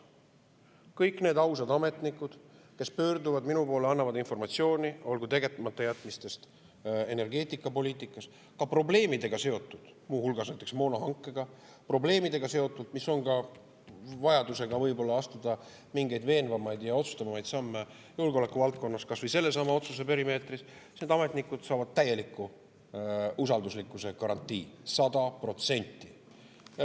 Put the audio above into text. Kõik need ausad ametnikud, kes pöörduvad minu poole ja annavad informatsiooni, olgu tegematajätmistest energeetikapoliitikas, sellest, mis on seotud mingite probleemidega, muu hulgas näiteks moonahankega, või probleemidega, mis on seotud ka vajadusega astuda võib-olla mingeid veenvamaid ja otsustavamaid samme julgeoleku valdkonnas, kas või sellesama otsuse perimeetris, saavad täieliku usalduslikkuse garantii, sada protsenti.